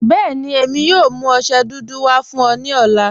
Bẹẹni, èmi yóò mú ọṣẹ dúdú wà fún ọ ni ọlá.